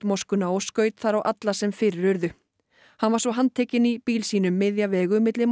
moskuna og skaut þar á alla sem fyrir urðu hann var svo handtekinn í bíl sínum miðja vegu milli